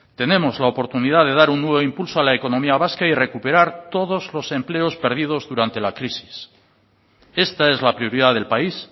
tenemos la oportunidad de dar un nuevo impulso a la economía vasca y recuperar todos los empleos perdidos durante la crisis esta es la prioridad del país